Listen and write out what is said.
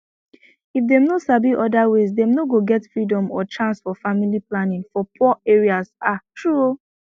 if dem no sabi other ways dem no go get freedom or chance for family planning for poor areas ah true o